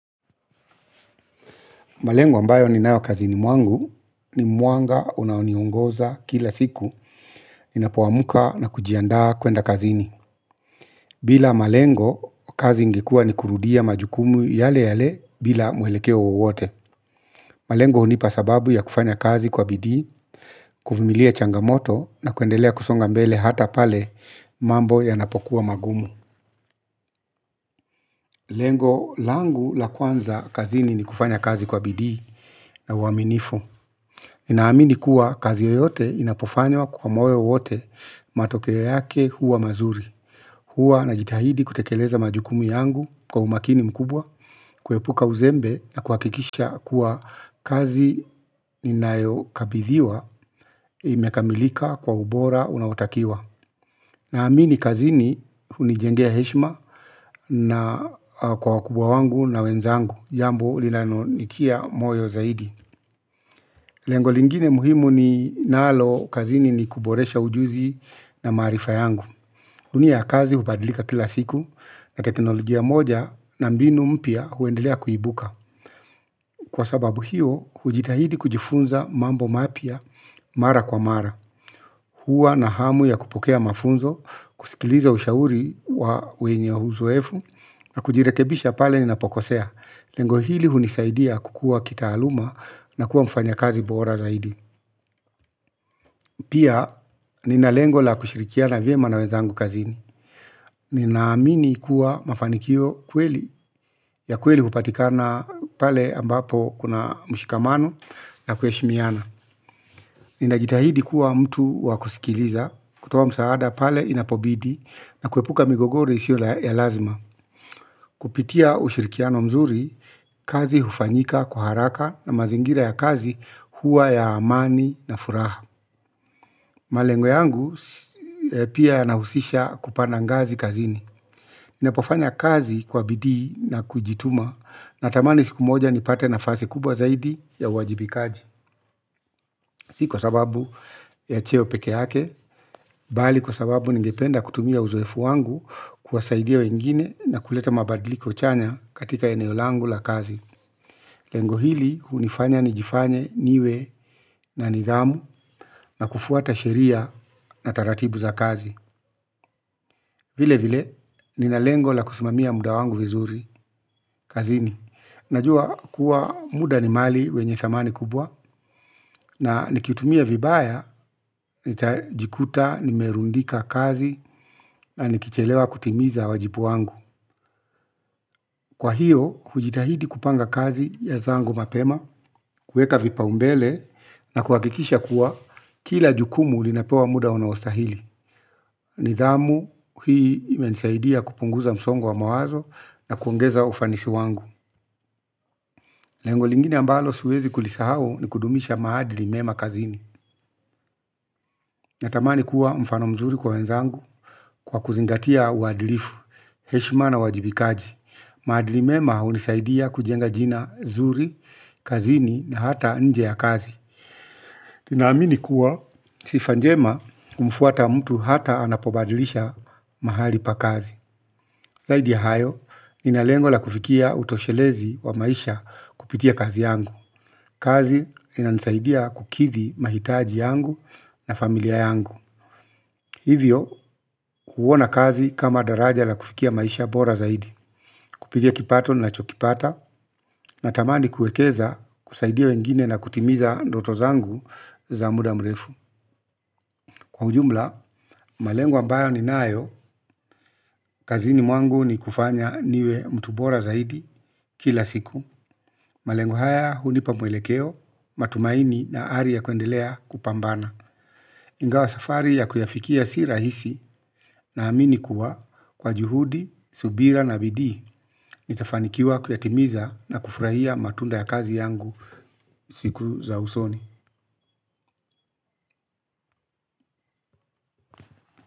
Malengo ambayo ninayo kazini mwangu ni mwanga unaoniongoza kila siku ninapoamka na kujiandaa kuenda kazini. Bila malengo kazi ingekuwa ni kurudia majukumu yale yale bila mwelekeo wowote. Malengo hunipa sababu ya kufanya kazi kwa bidii, kuvumilia changamoto na kuendelea kusonga mbele hata pale mambo yanapokuwa magumu. Lengo langu la kwanza kazini ni kufanya kazi kwa bidii na uaminifu. Ninaamini kuwa kazi yoyote inapofanywa kwa moyo yote matokeo yake huwa mazuri. Huwa najitahidi kutekeleza majukumu yangu kwa umakini mkubwa. Kuepuka uzembe na kuhakikisha kuwa kazi inayokabidhiwa imekamilika kwa ubora unaotakiwa. Naamini kazini hunijengea heshima na kwa wakubwa wangu na wenzangu. Jambo linanonitia moyo zaidi. Lengo lingine muhimu ninalo kazini ni kuboresha ujuzi na maarifa yangu. Dunia ya kazi hubadilika kila siku na teknolojia moja na mbinu mpya huendelea kuibuka. Kwa sababu hiyo, hujitahidi kujifunza mambo mapya mara kwa mara. Huwa na hamu ya kupokea mafunzo, kusikiliza ushauri wa wenye uzoefu, na kujirekebisha pale ninapokosea. Lengo hili hunisaidia kukua kitaaluma na kuwa mfanyakazi bora zaidi. Pia nina lengo la kushirikiana vyema na wenzangu kazini. Ninaamini kuwa mafanikio ukweli ya kweli hupatikana pale ambapo kuna mshikamano na kuheshimiana. Ninajitahidi kuwa mtu wa kusikiliza kutoa msaada pale inapobidi na kuepuka migogoro isiyo ya lazima. Kupitia ushirikiano mzuri kazi hufanyika kwa haraka na mazingira ya kazi huwa ya amani na furaha. Malengo yangu pia nahusisha kupanda ngazi kazini ninapofanya kazi kwa bidii na kujituma. Natamani siku moja nipate nafasi kubwa zaidi ya uwajibikaji. Si kwa sababu ya cheo peke yake. Bali kwa sababu ningependa kutumia uzoefu wangu kuwasaidia wengine na kuleta mabadiliko chanya katika eneo langu la kazi. Lengo hili hunifanya nijifanye niwe na nidhamu na kufuata sheria na taratibuza kazi. Vile vile, nina lengo la kusimamia muda wangu vizuri, kazini. Najua kuwa muda ni mali wenye thamani kubwa na nikiutumia vibaya nitajikuta nimerundika kazi na nikichelewa kutimiza wajibu wangu. Kwa hiyo, kujitahidi kupanga kazi ya zangu mapema, kueka vipaumbele, na kuhakikisha kuwa kila jukumu linapewa muda unaostahili. Nidhamu hii imenisaidia kupunguza msongo wa mawazo na kuongeza ufanisi wangu. Lengo lingine ambalo siwezi kulisahau ni kudumisha maadili mema kazini. Natamani kuwa mfano mzuri kwa wenzangu kwa kuzingatia uadilifu heshima na uwajibikaji maadili mema hunisaidia kujenga jina zuri, kazini na hata nje ya kazi. Tunaamini kuwa sifa njema humfuata mtu hata anapobadilisha mahali pa kazi. Zaidi ya hayo, nina lengo la kufikia utoshelezi wa maisha kupitia kazi yangu. Kazi inanisaidia kukithi mahitaji yangu na familia yangu. Hivyo huona kazi kama daraja la kufikia maisha bora zaidi. Kupitia kipato nachokipata, natamani kuekeza kusaidia wengine na kutimiza ndoto zangu za muda mrefu. Kwa ujumla, malengo ambayo ninayo, kazini mwangu ni kufanya niwe mtu bora zaidi kila siku. Malengo haya hunipa mwelekeo, matumaini na ari ya kuendelea kupambana. Ingawa safari ya kuyafikia si rahisi naamini kuwa kwa juhudi, subira na bidii nitafanikiwa kuyatimiza na kufrahia matunda ya kazi yangu. Siku za usoni.